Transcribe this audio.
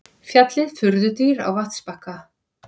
Fjallið furðudýr á vatnsbakka.